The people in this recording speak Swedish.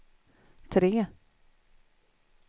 tre